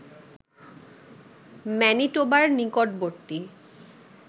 ম্যানিটোবার নিকটবর্তী